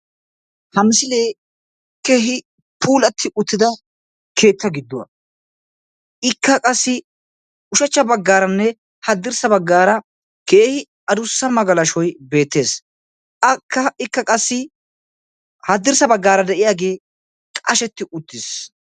Ha misilee keehi puulatti uttida keetta gidduwa. Ikka qassi ushachcha baggaaranne haddirssa baggaara keehi adussa magalashoy beettees. Akka ikka qassi haddirssa baggaara de'iyagee qashetti uttis.